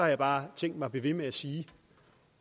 jeg bare tænkt mig at blive ved med at sige